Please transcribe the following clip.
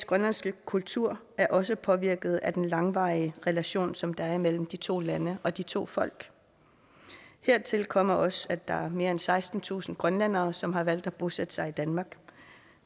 grønlandske kultur er også påvirket af den langvarige relation som der er mellem de to lande og de to folk hertil kommer også at der er mere end sekstentusind grønlændere som har valgt at bosætte sig i danmark